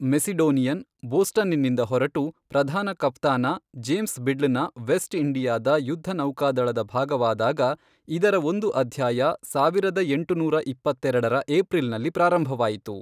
Macedonian, ಬೋಸ್ಟನ್ನಿಂದ ಹೊರಟು ಪ್ರಧಾನ ಕಫ್ತಾನ 'ಜೇಮ್ಸ್ ಬಿಡ್ಲ್'ನ ವೆಸ್ಟ್ ಇಂಡಿಯಾದ ಯುದ್ಧ ನೌಕಾದಳದ ಭಾಗವಾದಾಗ ಇದರ ಒಂದು ಅಧ್ಯಾಯ ಸಾವಿರದ ಎಂಟುನೂರ ಇಪ್ಪತ್ತೆರೆಡರ ಏಪ್ರಿಲ್ನಲ್ಲಿ ಪ್ರಾರಂಭವಾಯಿತು.